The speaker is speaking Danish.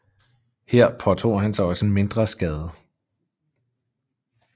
Her påtog han sig også en mindre skade